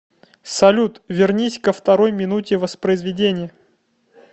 салют вернись ко второй минуте воспроизведения